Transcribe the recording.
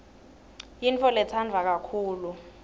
yintfoletsandwa kakhulu